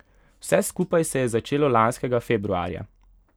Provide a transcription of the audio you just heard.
Vse skupaj se je začelo lanskega februarja.